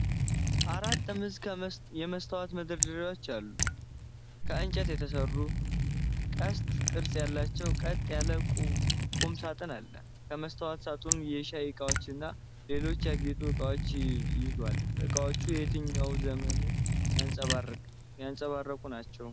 አራት ጥምዝ የመስታወት መደርደሪያዎች ያሉት፣ ከእንጨት የተሰራ፣ ቀስት ቅርጽ ያለው ቀጥ ያለ ቁም ሳጥን አለ። የመስታወት ሳጥኑ የሻይ እቃዎችንና ሌሎች ያጌጡ ዕቃዎችን ይዟል። ዕቃዎቹ የትኛውን ዘመን የሚያንጸባርቁ ናቸው?